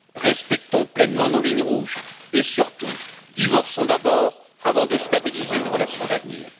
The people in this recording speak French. Respectons pleinement nos lignes rouges et, surtout, divorçons d'abord avant de stabiliser une relation d'avenir.